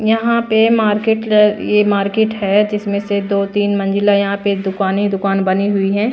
यहां पे मार्केट यह मार्केट है जिसमें से दो तीन मंजिला यहां पे दुकानी दुकान बनी हुई है।